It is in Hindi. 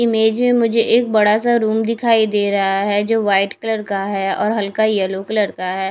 इमेज में मुझे एक बड़ा सा रूम दिखाई दे रहा है जो वाइट कलर का है और हल्का येलो कलर का है।